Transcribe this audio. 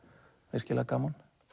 virkilega gaman